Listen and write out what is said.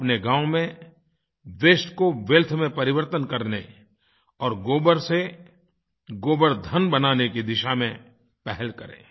अपने गाँव में वास्ते को वेल्थ में परिवर्तन करने और गोबर से गोबरधन बनाने की दिशा में पहल करें